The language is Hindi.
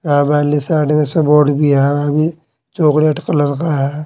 बोर्ड भी है वहां में चॉकलेट कलर का है।